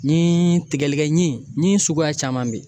Ni tigɛlikɛɲin ɲin suguya caman bɛ yen